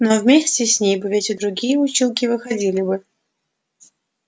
но вместе с ней бы ведь и другие училки выходили бы